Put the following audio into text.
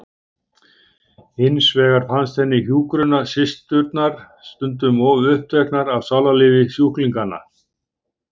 Hins vegar fannst henni hjúkrunarsysturnar stundum of uppteknar af sálarlífi sjúklinganna.